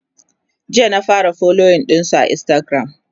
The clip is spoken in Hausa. jiya na fara following ɗinsu a instagram